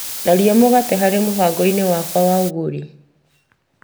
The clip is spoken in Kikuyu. Tharia mũgate mũbango-inĩ wakwa wa ũgũri .